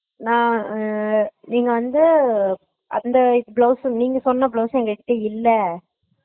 நா உம் நீங்க வந்து அந்த blouse சு நீங்க சொன்ன blouse உம் எங்ககிட்ட இல்ல